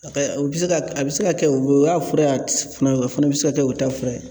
A kɛ o bi se ka a bɛ se ka kɛ o y'a fura ye, a ti s fana o fana bi se ka kɛ o ta fura ye.